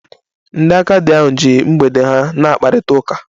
Ndị agadi ahụ ji mgbede ha na-akparịta ụka